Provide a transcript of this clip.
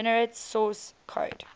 generate source code